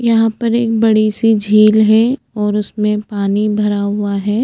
यहाँ पर एक बड़ी सी झील है और उसमे पानी भरा हुआ है।